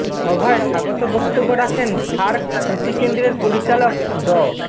সভায় স্বাগত বক্তব্য রাখেন সার্ক কৃষি কেন্দ্রের পরিচালক ড